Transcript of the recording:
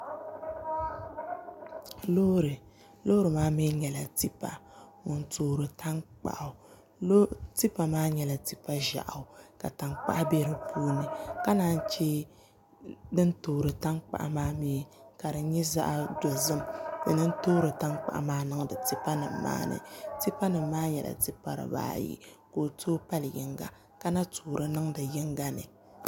Loori loori maa mii nyɛla tipa ŋun toori tankpaɣu tipa maa nyɛla tipa ʒiɛɣu ka tankpaɣu bɛ di puuni ka naan chɛ din toori tankpaɣu maa mii ka di nyɛ zaɣ dozim ŋuni n toori tankpaɣu maa niŋdi tipa nim maa ni tipa nim maa nyɛla tipa dibaayi ka o tooi pali yinga ka na toori niŋdi yinga ni